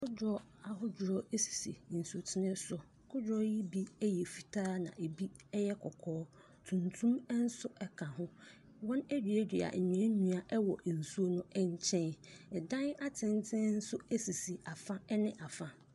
Kodoɔ ahodoɔ sisi nsuo so. Kodoɔ yi bi yɛ fitaa, ɛna ɛbi yɛ kɔkɔɔ. Tuntum nso ka ho. Wɔaduadua nnua wɔ nsuo no nkyɛn. Ɛdan atenten nso sisi afa ne afa.